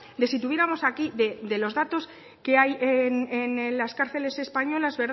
de si tuviéramos aquí de los datos que hay en las cárceles españolas